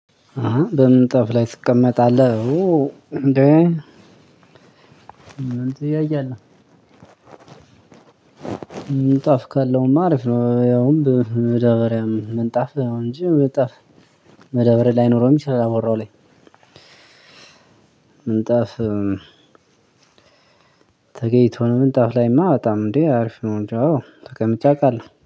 አሃ በምንጣፍ ላይ ትቀመጣለህ እንዴ ምን ጥያቄ አለው? ምንጣፍ ካለውም አሪፍ ነው። ያውም በመዳበረያም ምንጣፍ እንጂ ምንጣፍ መዳበሪያ ላይኖረው የሚችለው መወራው ላይ። ምንጣፍ ተገይቶ ምንጣፍ ላይማ በጣም እንዴ አርፊ ነው። እንጃ ተቀምጬ አውቃለሁ